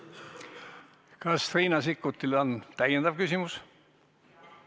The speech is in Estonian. Kas Riina Sikkutil on täiendav küsimus?